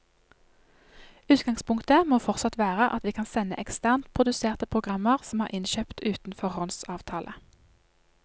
Utgangspunktet må fortsatt være at vi kan sende eksternt produserte programmer som er innkjøpt uten foråndsavtale.